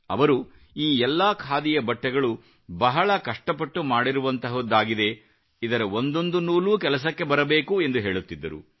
ಅವರು ಈ ಎಲ್ಲಾ ಖಾದಿಯ ಬಟ್ಟೆಗಳು ಬಹಳ ಕಷ್ಟಪಟ್ಟು ಮಾಡಿರುವಂತಹುದಾಗಿದೆ ಇದರ ಒಂದೊಂದು ನೂಲು ಕೆಲಸಕ್ಕೆ ಬರಬೇಕು ಎಂದು ಹೇಳುತ್ತಿದ್ದರು